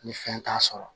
Ni fɛn t'a sɔrɔ